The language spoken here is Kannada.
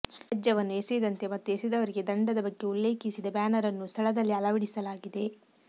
ತ್ಯಾಜ್ಯವನ್ನು ಎಸೆಯದಂತೆ ಮತ್ತು ಎಸೆದವರಿಗೆ ದಂಡದ ಬಗ್ಗೆ ಉಲ್ಲೇಖೀಸಿದ ಬ್ಯಾನರನ್ನೂ ಸ್ಥಳದಲ್ಲಿ ಅಳವಡಿಸಲಾಗಿದೆ